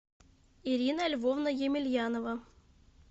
ирина львовна емельянова